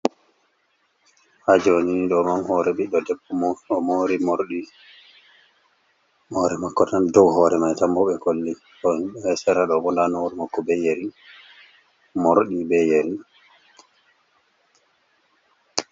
Ha joni ɗo on hore biɗɗo debbo omori morɗi hore mako tan do horeman tanbo ɓe kolli nda do esera mako yeri boholli morɗi be yeri.